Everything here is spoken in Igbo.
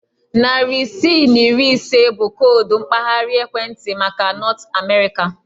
Narị isii na iri ise bụ koodu mpaghara ekwentị maka Nọt Amerịka.